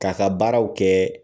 Ka ka baaraw kɛ